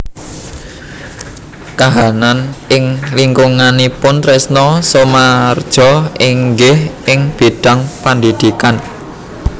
Kahanan ing lingkunganipun Trisno Soemardjo inggih ing bidhang pendhidhikan